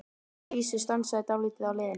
Að vísu var stansað dálítið á leiðinni.